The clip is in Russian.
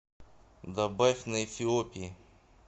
добавь на эфиопии